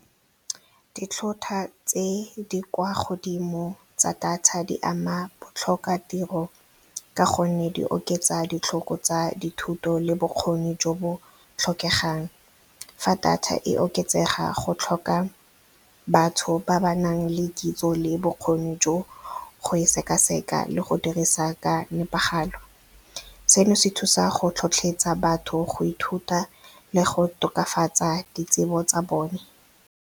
Ditlhotlhwa tse di kwa godimo tsa data di ama botlhokatiro ka gonne di oketsa ditlhoko tsa dithuto le bokgoni jo bo tlhokegang. Fa data e oketsega go tlhoka batho ba ba nang le kitso le bokgoni jo go e sekaseka le go dirisa ka nepagalo. Se no se thusa go tlhotlhetsa batho go ithuta le go tokafatsa ditsebo tsa bone.